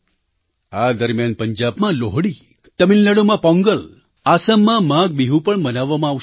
આ દરમિયાન પંજાબમાં લોહડી તમિલનાડુમાં પોંગલ આસામમાં માઘબિહુ પણ મનાવવામાં આવશે